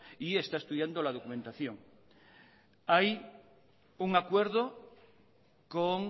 y está estudiando la documentación hay un acuerdo con